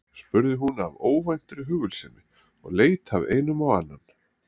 spurði hún af óvæntri hugulsemi og leit af einum á annan.